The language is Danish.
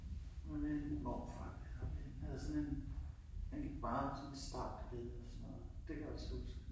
Men en morfar der, ik. Han havde sådan en han gik meget med sådan en strakt bælte og sådan noget. Det kan jeg også huske